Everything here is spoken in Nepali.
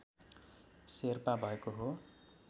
शेर्पा भएको हो